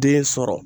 Den sɔrɔ